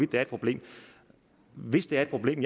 det er et problem hvis det er et problem